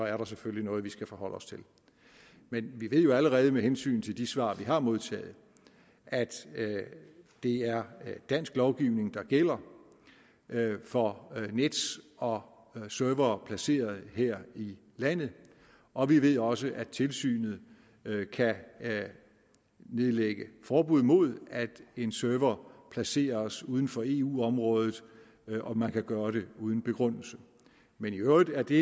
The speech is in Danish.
er der selvfølgelig noget vi skal forholde os til men vi ved jo allerede med hensyn til de svar vi har modtaget at det er dansk lovgivning der gælder for nets og servere placeret her i landet og vi ved også at tilsynet kan nedlægge forbud mod at en server placeres uden for eu området og man kan gøre det uden begrundelse men i øvrigt er det